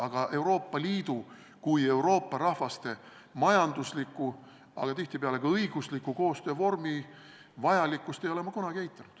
Aga Euroopa Liidu kui Euroopa rahvaste majandusliku ja tihtipeale ka õigusliku koostöövormi vajalikkust ei ole ma kunagi eitanud.